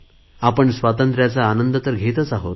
आपण स्वातंत्र्याचा आनंद तर घेतच आहोत